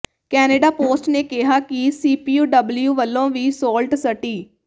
Canada Post ਨੇ ਕਿਹਾ ਕਿ ਸੀਯੂਪੀਡਬਲਿਊ ਵੱਲੋਂ ਵੀ ਸੌਲਟ ਸਟੀ